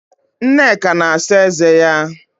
Nneka na-asa eze ya